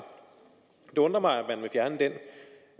det undrer mig